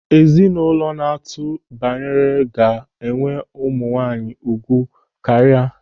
Ezinụlọ na-atụ baranne ga-enwe ụmụ nwaanyị ugwu karịa.